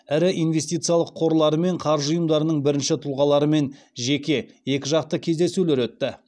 ірі инвестициялық қорлары мен қаржы ұйымдарының бірінші тұлғаларымен жеке екіжақты кездесулер өтті